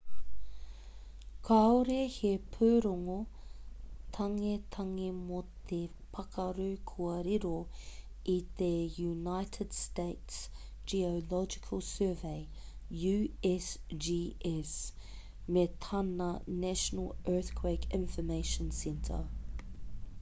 kāore he pūrongo tangetange mō te pakaru kua riro i te united states geological survey usgs me tana national earthquake information center